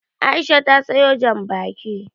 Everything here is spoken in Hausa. Aisha ta sawo Janbaki